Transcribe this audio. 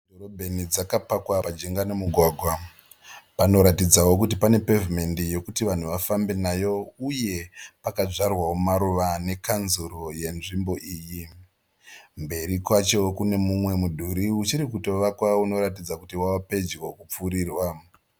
Mota dziri mudhorobheni dzakapakwa pajinga nomugwagwa. Panoratidzawo kuti pane pavhimendi yokuti vanhu vafambe nayo uye pakadyarwa maruva nekanzuru yenzvimbo iyi. Mberi kwacho kune mumwe mudhuri uchiri kutovakwa unoratidza kuti wava pedyo kupfurirwa.